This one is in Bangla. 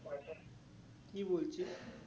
কি বলছি